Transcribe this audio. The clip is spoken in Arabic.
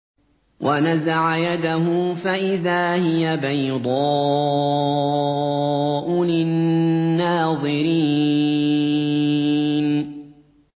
وَنَزَعَ يَدَهُ فَإِذَا هِيَ بَيْضَاءُ لِلنَّاظِرِينَ